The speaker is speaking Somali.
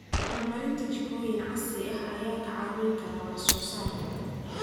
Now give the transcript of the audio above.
Horumarinta jikooyin casri ah ayaa kaa caawin kara wax soo saarka.